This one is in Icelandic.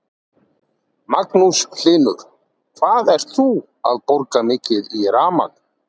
Magnús Hlynur: Hvað ert þú að borga mikið í rafmagn?